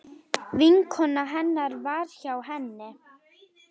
Vinkona hennar var hjá henni.